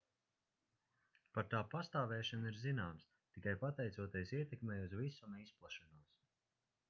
par tā pastāvēšanu ir zināms tikai pateicoties ietekmei uz visuma izplešanos